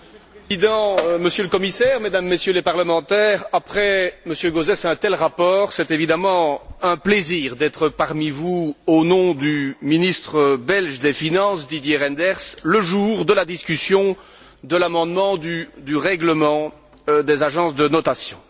Monsieur le Président, Monsieur le Commissaire, Mesdames, Messieurs les parlementaires, après M. Gauzès et un tel rapport, c'est évidemment un plaisir d'être parmi vous, au nom du ministre belge des finances, Didier Reynders, le jour de la discussion de l'amendement du règlement sur les agences de notation.